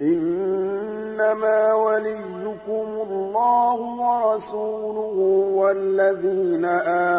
إِنَّمَا وَلِيُّكُمُ اللَّهُ وَرَسُولُهُ وَالَّذِينَ